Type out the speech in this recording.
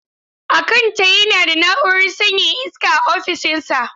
Akanta yana da na'urar sanyaya iska a ofishinsa.